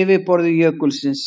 yfirborði jökulsins.